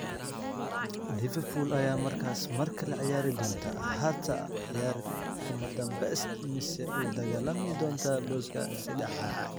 Liverpool ayaa markaas markale ciyaari doonta Axada, ciyaar kamadanbesta mise u dagaalami doonta booska seddexaad.